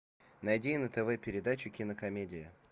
найди на тв передачу кинокомедия